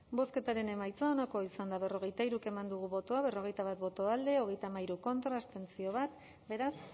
bozketaren emaitza onako izan da hirurogeita hamabost eman dugu bozka berrogeita bat boto alde hogeita hamairu contra bat abstentzio beraz